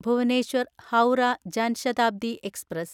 Bhubaneswar Howrah Jan Shatabdi express